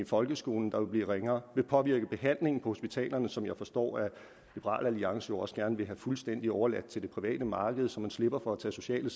folkeskolen der vil blive ringere vil påvirke behandlingen på hospitalerne som jeg forstår at liberal alliance også gerne vil have fuldstændig overladt til det private marked så man slipper for at tage sociale